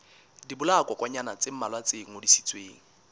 dibolayakokwanyana tse mmalwa tse ngodisitsweng